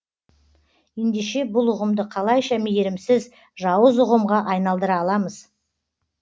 ендеше бұл ұғымды қалайша мейірімсіз жауыз ұғымға айналдыра аламыз